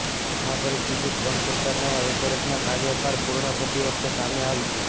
આ પરિસ્થિતિ ટ્રમ્પ સરકારના એક વર્ષના કાર્યકાળ પૂર્ણ થતી વખતે સામે આવી છે